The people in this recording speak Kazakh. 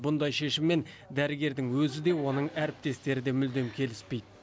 бұндай шешіммен дәрігердің өзі де оның әріптестері де мүлдем келіспейді